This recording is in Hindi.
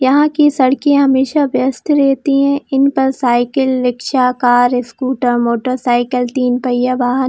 यहाँ की सड़के हमेशा बेस्ट रहती है इन पर cycle rickshaw car scooter motorcycle तीन पहिया वाहन --